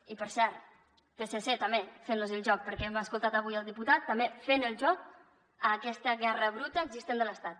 i per cert psc també fent los el joc perquè hem escoltat avui el diputat també fent el joc a aquesta guerra bruta existent de l’estat